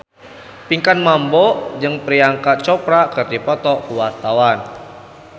Pinkan Mambo jeung Priyanka Chopra keur dipoto ku wartawan